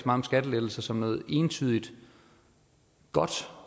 om skattelettelser som noget entydig godt